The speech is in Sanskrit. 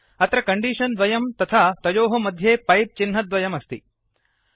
अत्र कण्डीषन् द्वयं तथा तयोः मध्ये पैप् चिह्नद्वयम् अस्ति